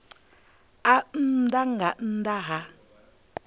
a nnḓa nga nnḓa ha